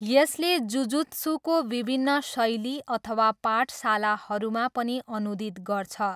यसले जुजुत्सुको विभिन्न शैली अथवा पाठशालाहरूमा पनि अनुदित गर्छ।